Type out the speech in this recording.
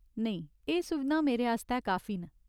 नेईं, एह् सुविधां मेरे आस्तै काफी न।